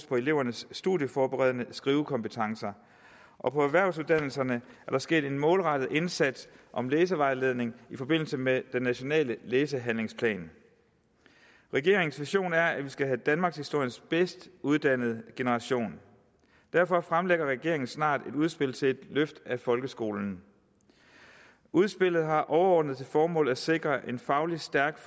på elevernes studieforberedende skrivekompetencer og på erhvervsuddannelserne er der sket en målrettet indsats om læsevejledning i forbindelse med den nationale læsehandlingsplan regeringens vision er at vi skal have danmarkshistoriens bedst uddannede generation derfor fremlægger regeringen snart et udspil til et løft af folkeskolen udspillet har overordnet til formål at sikre en fagligt stærk